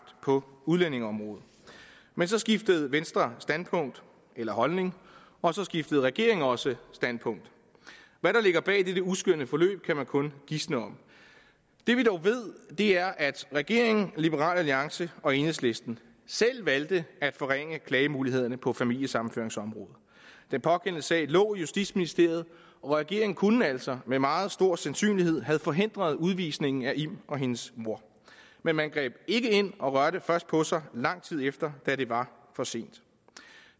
på udlændingeområdet men så skiftede venstre standpunkt eller holdning og så skiftede regeringen også standpunkt hvad der ligger bag dette uskønne forløb kan man kun gisne om det vi dog ved er at regeringen liberal alliance og enhedslisten selv valgte at forringe klagemulighederne på familiesammenføringsområdet den pågældende sag lå i justitsministeriet og regeringen kunne altså med meget stor sandsynlighed have forhindret udvisningen af im og hendes mor men man greb ikke ind og rørte først på sig lang tid efter da det var for sent